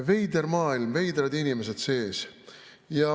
Veider maailm, veidrad inimesed sees.